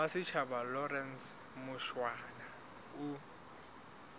wa setjhaba lawrence mushwana o